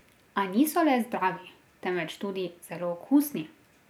A niso le zdravi, temveč tudi zelo okusni.